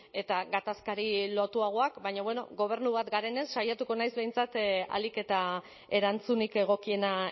eta gatazkari lotuagoak baina bueno gobernu bat garenez saiatuko naiz behintzat ahalik eta erantzunik egokiena